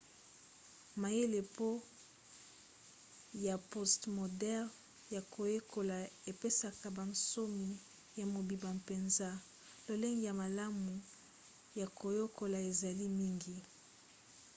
mayele ya postmoderne ya koyekola epesaka bonsomi ya mobimba mpenza. lolenge ya malamu ya koyekola ezali mingi